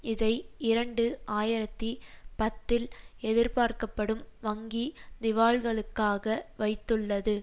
இதை இரண்டு ஆயிரத்தி பத்தில் எதிர்பார்க்கப்படும் வங்கி திவால்களுக்காக வைத்துள்ளது